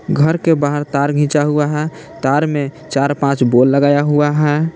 घर के बाहर तार खींचा हुआ है तार में चार पांच बोल लगाया हुआ है।